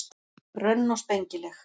Grönn og spengileg.